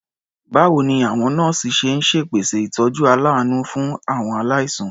Báwo ni àwọn nọ́ọ̀sì ṣe ń ṣèpèsè ìtọ́jú aláàánú fún àwọn aláìsàn?